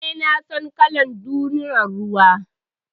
Eh, na san kalar dorinan ruwa.